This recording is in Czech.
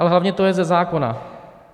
Ale hlavně to je ze zákona.